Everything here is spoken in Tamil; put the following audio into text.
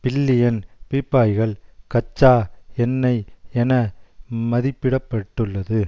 பில்லியன் பீப்பாய்கள் கச்சா எண்ணெய் என மதிப்பிட பட்டுள்ளது